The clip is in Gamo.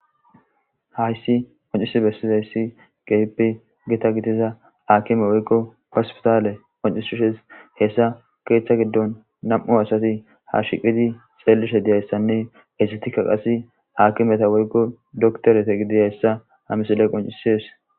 Hayssi qoncisi bessizayssi geypi gita gitiza haakime woykko pasfitaale qoncishushes hessa keeththa giddon nam7u asati ha shiqidi xeelishe diyayssanne esetika qase haakimeta woykko doktorete gidiyayssa hamisile qoncisies.